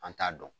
An t'a dɔn